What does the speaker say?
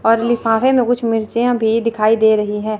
और लिफाफे में कुछ मिर्चियां भी दिखाई दे रही है।